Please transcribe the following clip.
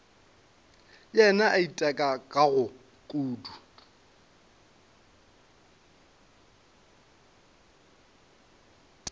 le yena a itekago kudu